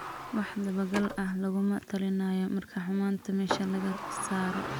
Wax dabagal ah laguma talinayo marka xumaanta meesha laga saaro.